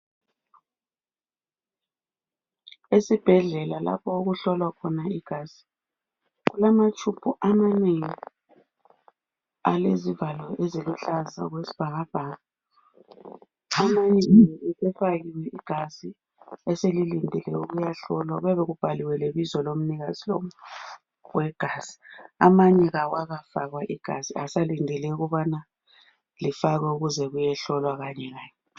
Esibhedlela lapho okuhlolwa khona igazikulamatshumbu amanengi alezivalo eziluhlaza okwesibhakabhaka amanye sefakiwe igazi eselilidele ukuyahlolwa kuyabe kubhaliwe lebizo lomnikazi wegazi amanye awakafakwa igazi basalindele ukuthi kufakwe igazi ukuze kuyehlolwa Kanye kanye